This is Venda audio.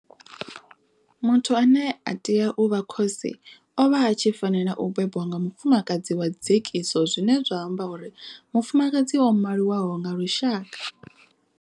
Muthu ane a tea u vha khosi o vha a tshi fanela u bebwa nga mufumakadzi wa dzekiso zwine zwa amba uri mufumakadzi o maliwaho nga lushaka.